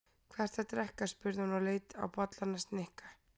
Hvað ertu að drekka? spurði hún og leit á bollann hans Nikka.